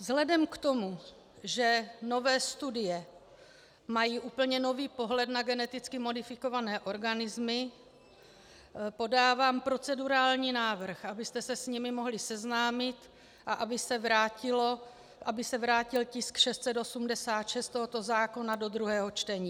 Vzhledem k tomu, že nové studie mají úplně nový pohled na geneticky modifikované organismy, podávám procedurální návrh, abyste se s nimi mohli seznámit a aby se vrátil tisk 686 tohoto zákona do druhého čtení.